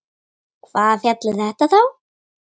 Hvaða fjall er þetta þá?